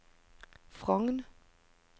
Frogn